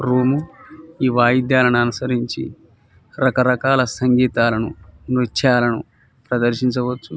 Room ఈవైదల్లను అనుసరించి రక రకాల సంగితల్లను నృత్యాలను ప్రదర్శించవచ్చు.